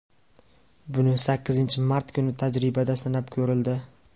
Buni sakkizinchi mart kuni tajribada sinab ko‘rildi.